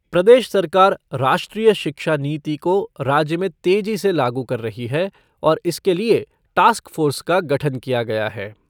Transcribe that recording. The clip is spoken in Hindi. प्रदेश सरकार राष्ट्रीय शिक्षा नीति को राज्य में तेज़ी से लागू कर रही है और इसके लिए टास्क फ़ोर्स का गठन किया गया है।